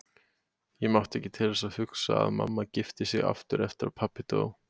Ég mátti ekki til þess hugsa að mamma gifti sig aftur eftir að pabbi dó.